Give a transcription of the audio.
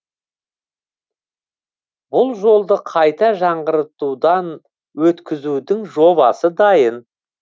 бұл жолды қайта жаңғыртудан өткізудің жобасы дайын